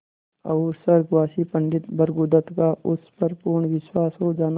और स्वर्गवासी पंडित भृगुदत्त का उस पर पूर्ण विश्वास हो जाना